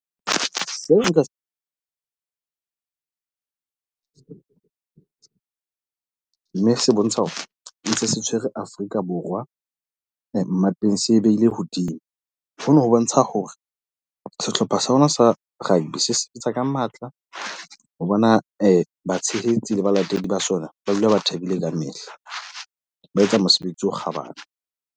Se nka se mme se bontsha hore ntse se tshwere Afrika Borwa mmapeng, se behile hodimo. Ho no ho bontsha hore sehlopha sa rona sa rugby se sebetsa ka matla, ho bona batshehetsi le balatedi ba sona ba dula ba thabile kamehla. Ba etsa mosebetsi o kgabane.